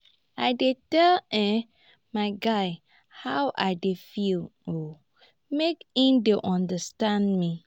i dey tell um my guy how i dey feel make im dey understand me.